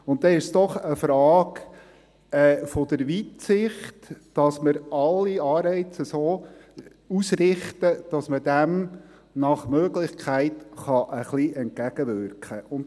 Dann ist es doch eine Frage der Weitsicht, dass wir alle Anreize so ausrichten, dass man dem nach Möglichkeit ein wenig entgegenwirken kann.